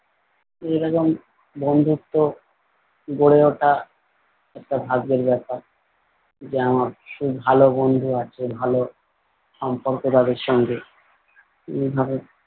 এরকম বন্ধুত্ব গড়ে ওঠা একটা ভাগ্যের ব্যাপার। যে আমার সেই ভালো বন্ধু আছে ভালো সম্পর্ক যাদের সঙ্গে এইভাবে।